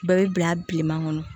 Bɛɛ bɛ bila bilenman kɔnɔ